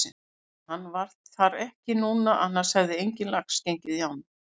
En hann var þar ekki núna annars hefði enginn lax gengið í ána.